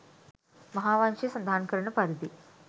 මහාවංශය සඳහන් කරන පරිදි